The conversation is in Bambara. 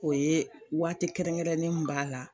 O ye waati kɛrɛnkɛrɛnnen mun b'a la.